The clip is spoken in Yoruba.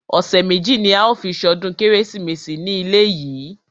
Ọ̀sẹ̀ méjì ní a ó fi ṣọdún kérésìmesì ní ilé yìí.